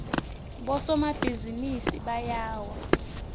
bosomabhizinisi bayawa